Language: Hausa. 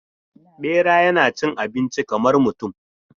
Bera yana cin abinci kamar mutum.